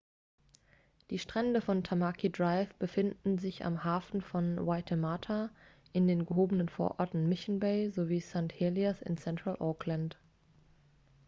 die strände von tamaki drive befinden sich am hafen von waitemata in den gehobenen vororten mission bay sowie st. heliers in central auckland